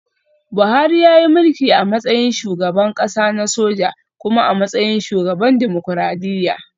Buhari yayi mulki a matsayin shugaban kasa na soja kuma a matsayin shugaban dimokuradiyya